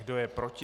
Kdo je proti?